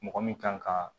Mɔgɔ min kan ka